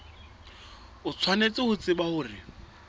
o tshwanetse ho tseba hore